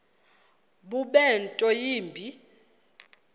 bube nto yimbi